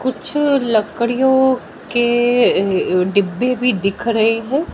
कुछ लकड़ियों के डिब्बे भी दिख रहे हैं।